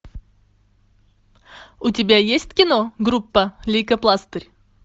у тебя есть кино группа лейкопластырь